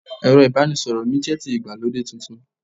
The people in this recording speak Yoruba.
ẹrọ ibanisọrọ mi jẹ ti Igbalode Titun